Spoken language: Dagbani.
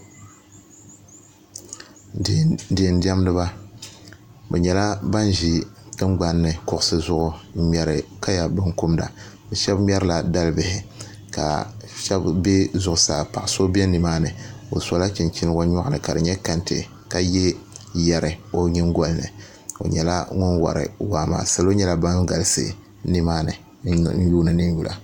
Diɛn diɛndiba bi nyɛla ban ʒi tungbanni kuɣusi zuɣu n ŋmɛri kaya binkumda bi shab ŋmɛrila dalibihi ka shab bɛ zuɣusaa paɣa so bɛ zuɣusaa o sola chinchini o nyoɣani ka di nyɛ kɛntɛ ka yɛ yɛri o nyingoli ni o nyɛla ŋun wori waa maa salo nyɛla ban galisi nimaani n yuundi nin yula